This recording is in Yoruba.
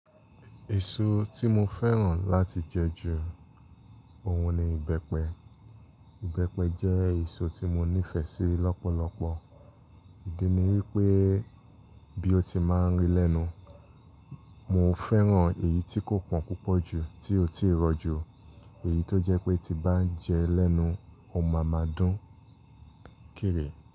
Èso tí mo fẹ́ràn láti jẹ ju ohun ni ìbẹ́pẹ. Ìbẹ́pẹ jẹ́ èso tí mo nífẹ̀ẹ́ sí lọ́pọ̀lọpọ̀. Ìdí ni wípé bí ó ti máa ń ri lẹ́nu, mo fẹ́ràn èyí tí kò pọ́n púpọ̀ jù, tí ó sì rọ jù. Èyí tó jẹ́ pé tí bá jẹ ẹ́ lẹ́nu, o máa máa dún kéré.